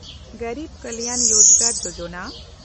Garib Kalyan Rozgar Yojana